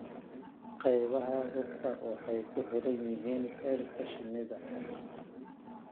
Qaybaha rugta waxay ku xiran yihiin heerka shinnida.